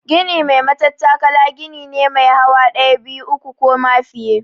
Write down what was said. Gini mai matattakala gini ne mai hawa ɗaya, biyu, uku ko ma fiye.